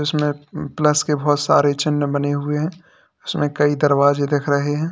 इसमें प्लस के बहोत सारे चिन्ह बने हुए है इसमें कई दरवाजे दिख रहे है।